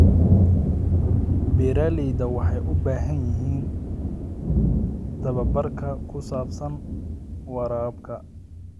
Beeralayda waxay u baahan yihiin tababar ku saabsan waraabka.